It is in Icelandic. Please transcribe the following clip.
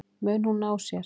Mun hún ná sér?